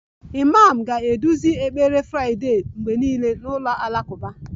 Imam ga-eduzi ekpere Friday mgbe niile n'ụlọ alakụba